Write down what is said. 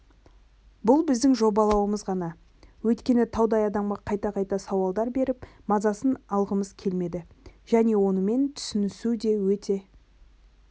бұл біздің жобалауымыз ғана өйткені таудай адамға қайта-қайта сауалдар беріп мазасын алғымыз келмеді және онымен түсінісу де өте